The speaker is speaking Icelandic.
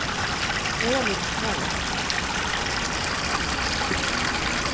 Eða léti snoða það.